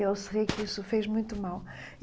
E eu sei que isso fez muito mal.